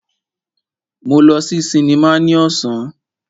Máa lọ sí sinimá ní ọ̀sán.